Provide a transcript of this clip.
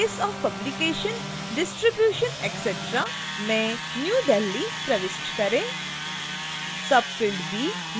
field a place of publication distribution etc में new delhi प्रविष्ट करें